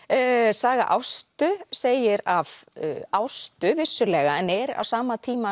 saga Ástu segir af Ástu vissulega en er á sama tíma